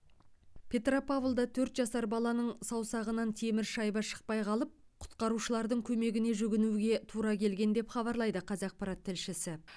петропавлда төрт жасар баланың саусағынан темір шайба шықпай қалып құтқарушылардың көмегіне жүгінуге тура келген деп хабарлайды қазақпарат тілшісі